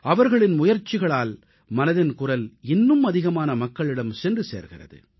அவர்களின் முயற்சிகளால் மனதின் குரல் இன்னும் அதிகமான மக்களிடம் சென்று சேர்கிறது